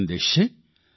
આ સંદેશ છે